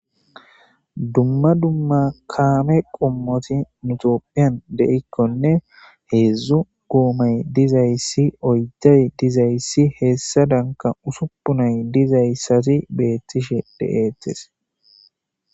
Dumma dumma kaame qomoti nu tophiyan de'ikonne hezdzdu goomay dizaysi ,oydayi dizaysi hesadanka usuppunayi dizaysati beetishe de'etes.